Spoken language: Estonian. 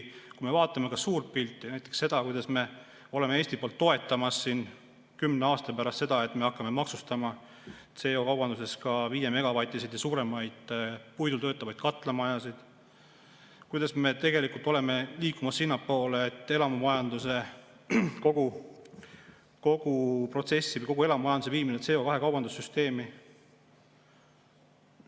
Vaatame ka suurt pilti, näiteks seda, kuidas Eesti toetab seda, et kümne aasta pärast me hakkame maksustama CO‑kaubanduses ka 5‑megavatiseid ja suuremaid puidul töötavaid katlamajasid, kuidas me tegelikult oleme liikumas sinnapoole, et elamumajanduse kogu protsessi, kogu elamumajanduse viime CO2‑kaubanduse süsteemi.